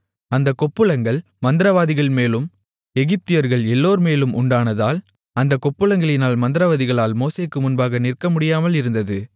அந்தக் கொப்புளங்கள் மந்திரவாதிகள்மேலும் எகிப்தியர்கள் எல்லோர்மேலும் உண்டானதால் அந்தக் கொப்புளங்களினால் மந்திரவாதிகளால் மோசேக்கு முன்பாக நிற்கமுடியாமல் இருந்தது